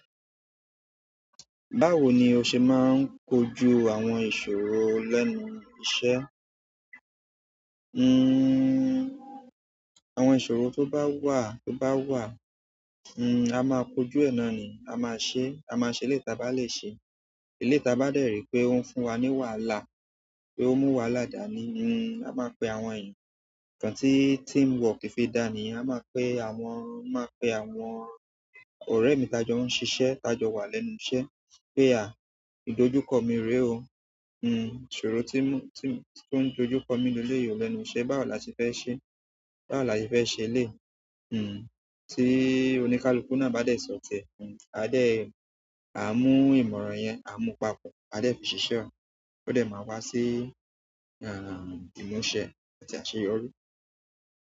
Báwo ni o ṣe máà ń kojú àwọn ìṣòro lẹ́nu iṣẹ́? Hmm, àwọn ìṣòrò tó bá wà, tó bá wà, hmm, a máa kojú ẹ̀ nà ni, a máa ṣe, a máa ṣe léyi ti a bá lè ṣe. Eleyi ti a bá dè rí pé ó ń fún wa ní wàhálà, pé ó mú wahàlá dani, hmm, a máa pe àwọn ènìyàn. Ìkàn tí teamwork fi dà ní, a máa pe àwọn, máa pe àwọn ọ̀rẹ́ mi tajọ ó ń ṣiṣẹ́, tajọ wà lẹ́nu iṣẹ́ pé a, "Ìdojúkọ mi rẹ̀ o, hmm, ìṣòro to ń dojúkọ mi o lele yìí lẹ́nu iṣẹ́, báwo la se fẹ́ ṣe? Báwo la se fẹ́ ṣe eléyii?" Hmm, tí oníkálukú náà bá de sọtiẹ́, a dẹ̀, a mú ìmọ̀ràn yẹn, a mú papọ̀, a dè fi ṣiṣẹ́ ó. O de ma wa si imuse àti àṣeyọrí.